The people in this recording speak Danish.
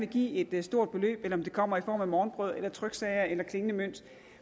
give et stort beløb eller om det kommer i form af morgenbrød tryksager eller klingende mønt